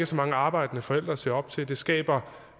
så mange arbejdende forældre at se op til det skaber